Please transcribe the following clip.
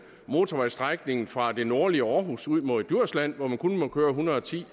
motorvejsstrækningen fra det nordlige aarhus ud mod djursland hvor man kun må køre en hundrede og ti